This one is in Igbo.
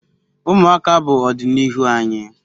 Umuaka bu odinihu anyi